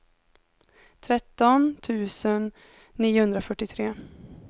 tretton tusen niohundrafyrtiotre